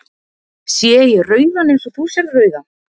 Sé ég rauðan eins og þú sérð rauðan?